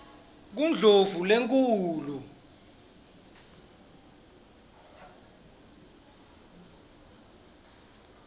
kundlovulenkhulu